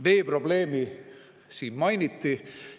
Veeprobleemi siin mainiti.